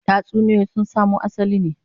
Tatsuniyoyi sun samo asalin ne